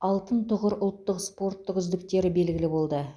алтын тұғыр ұлттық спорттық үздіктері белгілі болды